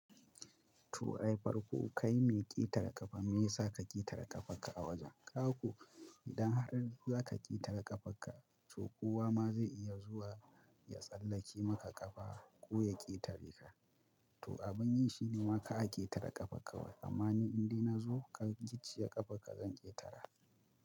To ai farko kai mai ƙetare ƙafa me yasa ka ƙetare ƙafarka a wajen? Kaga ko idan har za ka ƙetare ƙafarka, to kowa ma zai iya zuwa ya tsallake maka ƙafa ko ya ƙetare ka. To abun yi shi ne ma kar a ƙetare ƙafar kawai. Amma ni indai na zo ka gicciye ƙafar ka zan ƙetara.